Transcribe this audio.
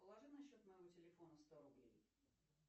положи на счет моего телефона сто рублей